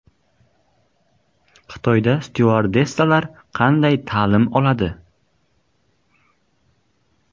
Xitoyda styuardessalar qanday ta’lim oladi?